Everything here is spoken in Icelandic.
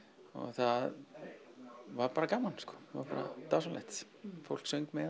það var bara gaman bara dásamlegt fólk söng með